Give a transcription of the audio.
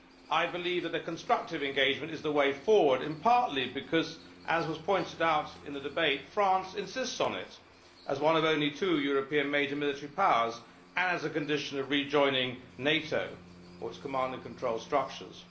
I believe that constructive engagement is the way forward, partly because as was pointed out in the debate France insists on it as one of only two European major military powers and as a condition of rejoining NATO and its command and control structures.